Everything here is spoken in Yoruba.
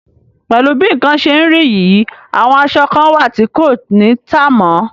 Pẹ̀lú bí nǹkan ṣe rí yìí, àwọn aṣọ kan wà tí kò ní tà mọ́.